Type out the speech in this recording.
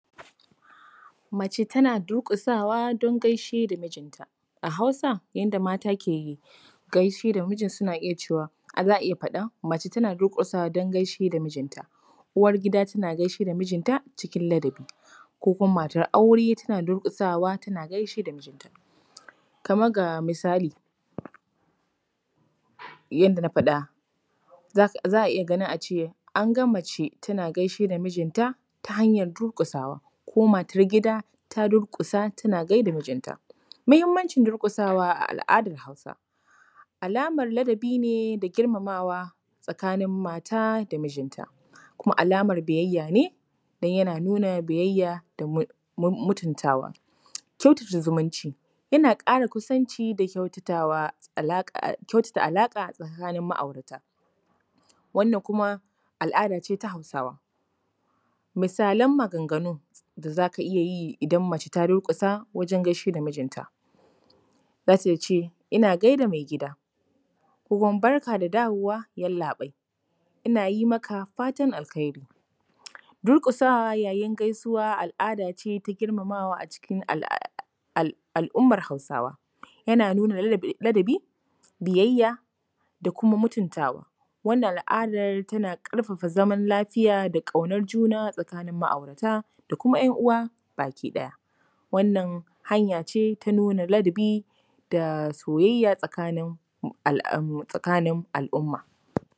Mace tana durƙusawa don gaishe da mijinta. A Hausa, yadda mata ke gaishe da miji suna iya cewa, za a iya faɗan… mace tana durƙusawa don gaishe da mijinta. Uwar gida tana gaishe da mijinta cikin ladabi ko kuma matar aure tana durƙusawa tana gaishe da mijinta. Kamar ga misali, yadda na faɗa, za a iya ganin a ce, ‘an ga mace tana gaishe da mijinta ta hanyar durƙusawa’, ko ‘matar gida ta durƙusa, tana gai da mijinta’. Muhimmanci durƙusawa a al’adar Hausa: alamar ladabi ne da girmamawa tsakanin mata da mijinta kuma alamar biyayya ne don yana nuna biyayya da mutuntawa. Kyautata zumunci: yana ƙara kusanci da kyautatawa, kyautata alaƙa tsakanin ma’aurata, wannan kuma al’ada ce ta Hausawa. Misalan maganganun da za ka iya yi idan mace ta durƙusa wajen gaishe da mijinta, za ta ce, ‘ina gai da mai gida’. Ko kuma ‘barka da dawowa yallaɓai, ina yi maka fatan alheri’. Durƙuasa yayin gaisuwa al’ada ce ta girmamawa a cikin al’ummar Hausawa. Yana nuna ladabi, biyayya da kuma mutuntawa. Wannan al’adar tana ƙarfafa zaman lafiya da ƙaunar juna tsakanin ma’aurata da kuma ‘yan uwa baki ɗaya. Wannan hanya ce ta nuna ladabi da soyayya tsakanin al’umma.